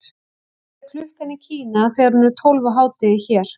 hvað er klukkan í kína þegar hún er tólf á hádegi hér